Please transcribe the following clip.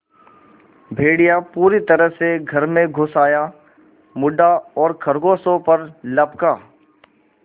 भेड़िया पूरी तरह से घर में घुस आया मुड़ा और खरगोशों पर लपका